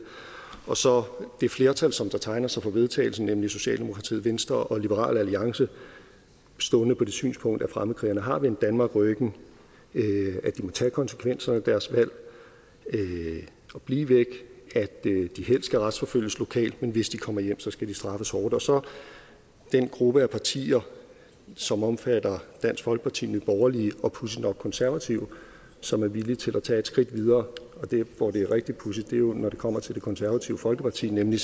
og så det flertal som der tegner sig for vedtagelse nemlig socialdemokratiet venstre og liberal alliance stående på det synspunkt at fremmedkrigerne har vendt danmark ryggen at de må tage konsekvenserne af deres valg og blive væk at de helst skal retsforfølges lokalt men hvis de kommer hjem skal de straffes hårdt og så den gruppe af partier som omfatter dansk folkeparti nye borgerlige og pudsigt nok konservative som er villige til at tage et skridt videre der hvor det er rigtig pudsigt er jo når det kommer til det konservative folkeparti nemlig